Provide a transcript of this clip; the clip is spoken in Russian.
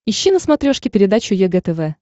ищи на смотрешке передачу егэ тв